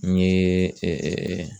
N ye